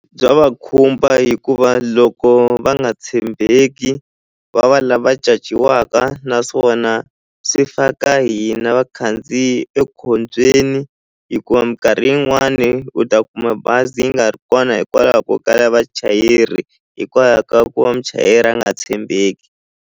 Bya va khumba hikuva loko va nga tshembeki va va lava caciwaka naswona swi faka hina vakhandziyi ekhombyeni hikuva minkarhi yin'wani u ta kuma bazi yi nga ri kona hikwalaho ko kala vachayeri hikwalaho ka ku va muchayeri a nga tshembeki.